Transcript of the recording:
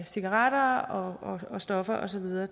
cigaretter og stoffer og så videre